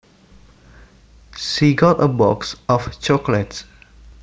She got a box of chocolates